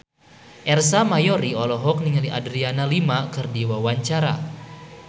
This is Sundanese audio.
Ersa Mayori olohok ningali Adriana Lima keur diwawancara